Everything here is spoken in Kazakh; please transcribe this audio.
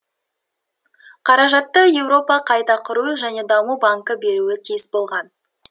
қаражатты еуропа қайта құру және даму банкі беруі тиіс болған